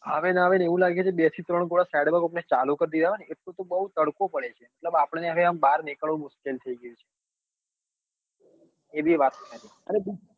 આવે નાં આવે ને એવું લાગે બે થી ત્રણ ગોળા side માં કોક ને ચાલુ કરી દીધા હોય ને એટલો તો બઉ તડકો પડે છે મતલબ આપડો ને હવે બાર નીકળવું મુશ્કેલ થઇ ગયું છે